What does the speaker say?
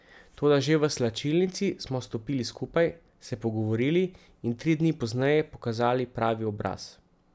Toda že v slačilnici smo stopili skupaj, se pogovorili in tri dni pozneje pokazali pravi obraz.